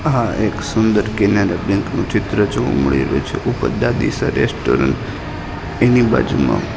આ એક સુંદર કેનેરા બેંક નું ચિત્ર જોવા મળી રહ્યુ છે ઉપર દાદીસા રેસ્ટોરન્ટ એની બાજુમાં--